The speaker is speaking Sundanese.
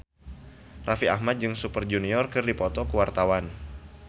Raffi Ahmad jeung Super Junior keur dipoto ku wartawan